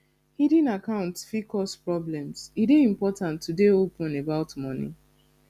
hidden accounts fit cause problems e dey important to dey open about money